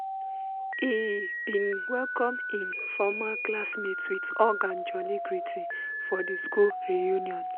he bin welcome hin former classmates with hug and jooly greeting for di school reunion.